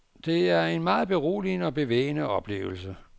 Det var en meget beroligende og bevægende oplevelse.